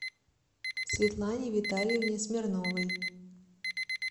светлане витальевне смирновой